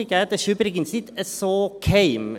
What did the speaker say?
Dieses ist übrigens nicht so geheim.